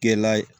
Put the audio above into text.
Kɛla ye